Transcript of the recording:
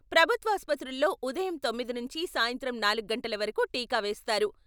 ప్రభుత్వాసుపత్రుల్లో ఉదయం తొమ్మిది నుంచి సాయంత్రం నాలుగు గంటల వరకు టీకా వేస్తారు.